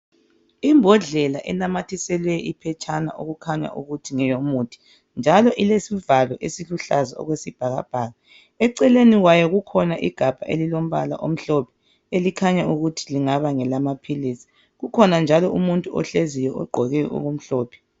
imbodlela enamathiselwe iphetshana okukhanya ukuthi ngeyomuthi njalo ilesivalo esiluhlaza okwesibhakabhaka eceleni kwayo kukhona igabha elilombala omhlophe elikhanya ukuthi lingaba ngelamaphilisi kukhona umuntu njalo ohleziyo ogqoke okumhlophe